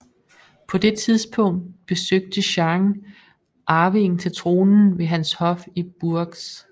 På det tidspunkt besøgte Jeanne arvingen til tronen ved hans hof i Bourges